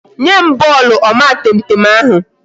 Nye m bọọlụ omatemtem ahụ